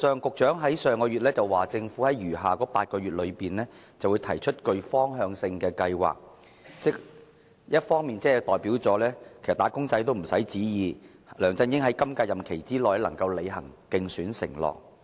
局長在上月表示，政府會在餘下8個月內提出具方向性的計劃，換言之，"打工仔"不用再期望梁振英會在本屆任期內履行其競選承諾。